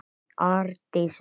Þín, Arndís Rós.